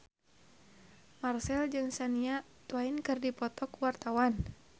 Marchell jeung Shania Twain keur dipoto ku wartawan